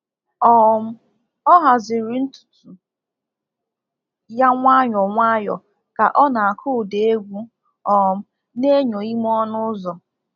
um Ọ haziri ntutu ya nwayọ nwayọ ka o na-akụ ụda egwu um n’enyo ime ọnụ ụzọ.